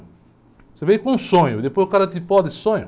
Você veio com um sonho, depois o cara te poda esse sonho?